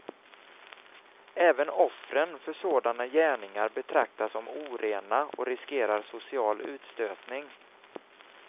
Även offren för sådana gärningar betraktas som orena och riskerar social utstötning.